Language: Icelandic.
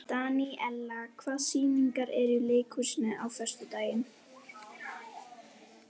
Daníela, hvaða sýningar eru í leikhúsinu á föstudaginn?